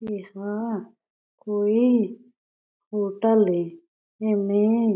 इंहा कोई हॉटल हे एमे --